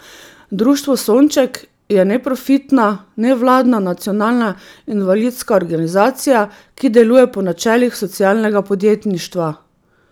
Društvo Sonček je neprofitna, nevladna nacionalna invalidska organizacija, ki deluje po načelih socialnega podjetništva.